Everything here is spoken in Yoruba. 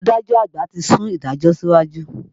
Adájọ́ àgbà ti sún ìdájọ́ síwájú.